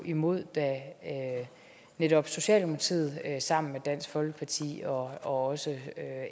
imod da netop socialdemokratiet sammen med dansk folkeparti og også